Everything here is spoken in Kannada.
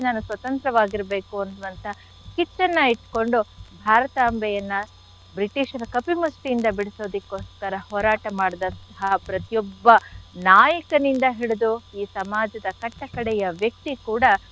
ನಾನು ಸ್ವತಂತ್ರವಾಗಿರ್ಬೇಕು ಅನ್ನುವಂಥ ಕಿಚ್ಚನ್ನ ಇಟ್ಕೊಂಡು ಭಾರತಾಂಬೆಯನ್ನ British ರ ಕಪಿ ಮುಷ್ಟಿಯಿಂದ ಬಿಡ್ಸೋದಿಕ್ಕೋಸ್ಕರ ಹೋರಾಟ ಮಾಡಿದಂಥಹ ಪ್ರತಿಯೊಬ್ಬ ನಾಯಕನಿಂದ ಹಿಡಿದು ಈ ಸಮಾಜದ ಕಟ್ಟ ಕಡೆಯ ವ್ಯಕ್ತಿ ಕೂಡ,